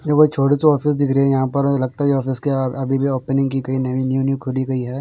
ये कोई छोटे से ऑफिस दिख रही हैं यहाँ पर लगता हैं यह ऑफिस के अभी अभी ओपनिंग की गयी नवी न्यू न्यू खोली गयी हैं।